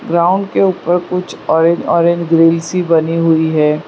Ground के ऊपर कुछ और एक ऑरेंज ऑरेंज ग्रिल सी बनी हुई है।